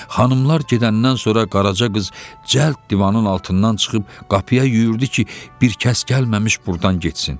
Xanımlar gedəndən sonra Qaraca qız cəld divanın altından çıxıb qapıya yüyürdü ki, bir kəs gəlməmiş burdan getsin.